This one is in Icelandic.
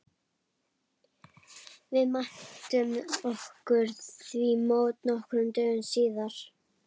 Við mæltum okkur því mót nokkrum dögum síðar.